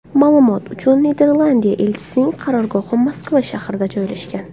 Ma’lumot uchun, Niderlandiya elchisining qarorgohi Moskva shahrida joylashgan.